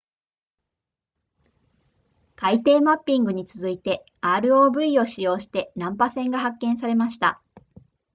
海底マッピングに続いて rov を使用して難破船が発見されました